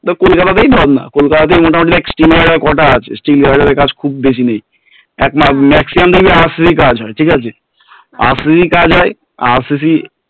কলকাতা তেই ধর না কলকাতা তেই মোটামোটি steel guarder কটা আছে steel guarder এর কাজ খুব বেশি নেই maximum খবি RCC কাজ হয় RCC র কাজ হয় RCC